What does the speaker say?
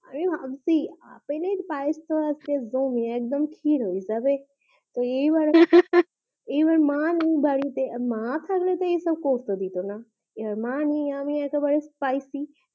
এই ভাবছি আপেল আর পায়েস একদম খির হইছে এইবার মা বাড়িতে নাই মা থাকলে তো এসব করতে দিতো না এবার মা নেয় আমি একেবারে